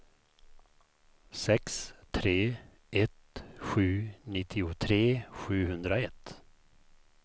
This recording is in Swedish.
sex tre ett sju nittiotre sjuhundraett